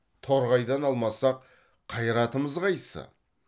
торғайдан алмасақ қайратымыз қайсы